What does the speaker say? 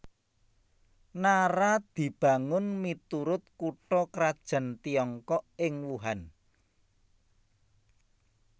Nara dibangun miturut kutha krajan Tiongkok ing Wuhan